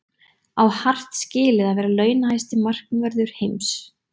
Á Hart skilið að vera launahæsti markvörður heims?